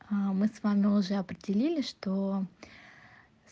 аа мы с вами уже определили что